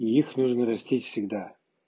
и их нужно растить всегда